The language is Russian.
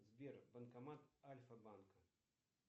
сбер банкомат альфа банка